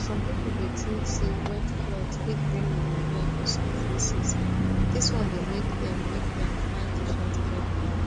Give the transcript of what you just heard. some people dey tink say wet cloth fit bring pneumonia for some places dis one dey make dem make dem find different care plan